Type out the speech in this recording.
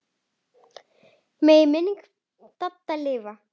Megi minning Dadda lifa.